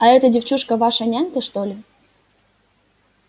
а эта девчушка ваша нянька что ли